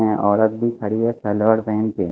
यहाँ औरत भी खड़ी है सलवार पहन के --